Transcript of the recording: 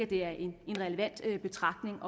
det er en relevant betragtning